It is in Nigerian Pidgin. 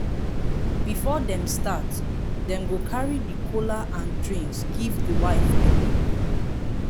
before dem start dem go carry the kola and drinks give di wife pipol